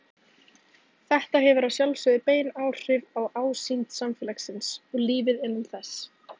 Þetta hefur að sjálfsögðu bein áhrif á ásýnd samfélagsins og lífið innan þess.